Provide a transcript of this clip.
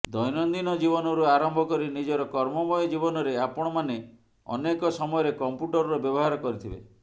ଦୈନନ୍ଦିନ ଜୀବନରୁ ଆରମ୍ଭ କରି ନିଜର କର୍ମମୟ ଜୀବନରେ ଆପଣମାନେ ଅନେକ ସମୟରେ କମ୍ପ୍ୟୁଟରର ବ୍ୟବହାର କରିଥିବେ